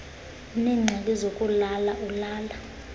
uneengxaki zokulala ulala